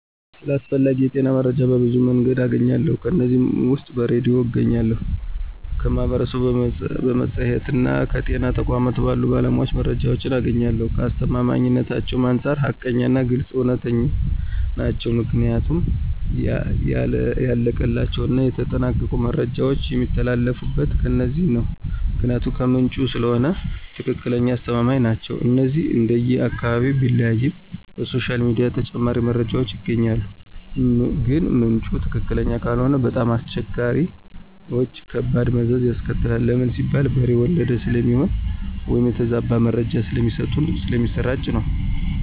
ስለ አስፈላጊ የጤና መረጃዎች በብዙ መንገድ አገኛለሁ ከነዚህም ውስጥ በሬድዮ አገኛለሁ፣ ከማህበረሰቡ፣ በመፅሔትና ከጤና ተቋማት ባሉ ባለሞያዎች መረጃዎችን አገኛለሁኝ፣ ከአስተማማኝነታቸውም አንፃር ሀቀኛና ግልፅ፣ እውነተኛ ናቸው ምክንያቱም ያለቀላቸውና የተጠናቀቁ መረጃዎች የሚተላለፊት ከነዚህ ነው ምክንያቱም ከምንጩ ስለሆነ ትክክለኛና አስተማማኝ ናቸው። እነዚህንም እንደየ አካባቢው ቢለያይም በሶሻል ሚዲያ ተጨማሪ መረጃዎች ይገኛሉ ግን ምንጩ ትክክለኛ ካልሆነ በጣም አስቸጋሪዎችና ከባድ መዘዝ ያስከትላል ለምን ሲባል በሬ ወለደ ስለሚሆን ወይም የተዛባ መረጃ ስለሚሰጡና ስለሚሰራጭባቸው ነው።